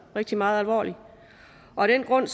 rigtig meget alvorligt og af den grund